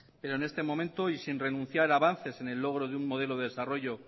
pero en este momento y sin renunciar a avances en el logro de un modelo de desarrollo